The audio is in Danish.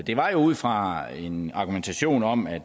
det var jo ud fra en argumentation om at